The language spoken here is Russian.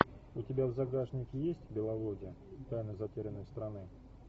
у тебя в загашнике есть беловодье тайна затерянной страны